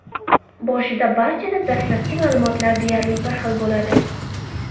Boshida barchada dastlabki ma’lumotlar deyarli bir xil bo‘ladi.